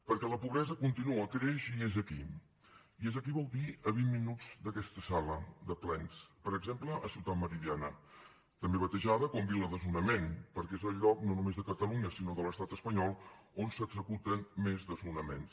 perquè la pobresa continua creix i és aquí i és aquí vol dir a vint minuts d’aquesta sala de plens per exemple a ciutat meridiana també batejada com vila desnonament perquè és el lloc no només de catalunya sinó de l’estat espanyol on s’executen més desnonaments